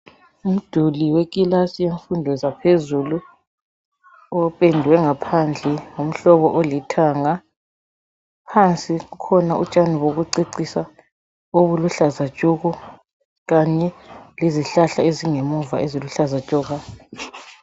Umduli wekilasi yemfundo zaphezulu opendwe ngaphandle ngomhlobo olithanga, phansi kukhona utshani bokucecisa obuluhlaza tshoko kanye lezihlahla ezingemuva eziluhlaza tshoko.